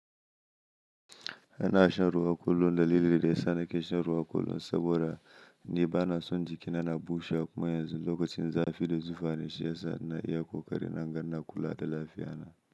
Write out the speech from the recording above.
Ana shan ruwa kullum da lili dai sa da ke shan ruwa kullum saboda ni ba na son jikina na bushe kuma yanzu lokacin zafi da zufa ne shi yasa shiyasa ina iya ƙoƙari na ganin na kula da lafiyana.